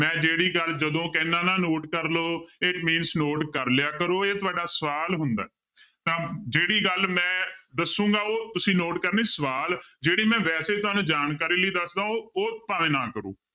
ਮੈਂ ਜਿਹੜੀ ਗੱਲ ਜਦੋਂ ਕਹਿਨਾ ਨਾ note ਕਰ ਲਓ it means note ਕਰ ਲਇਆ ਕਰੋ ਇਹ ਤੁਹਾਡਾ ਸਵਾਲ ਹੁੰਦਾ ਹੈ ਤਾਂ ਜਿਹੜੀ ਗੱਲ ਮੈਂ ਦੱਸਾਂਗਾ ਉਹ ਤੁਸੀਂ note ਕਰਨੀ ਸਵਾਲ ਜਿਹੜੀ ਮੈਂ ਵੈਸੇ ਤੁਹਾਨੂੰ ਜਾਣਕਾਰੀ ਲਈ ਦੱਸਦਾਂ ਉਹ ਉਹ ਭਾਵੇਂ ਨਾ ਕਰੋ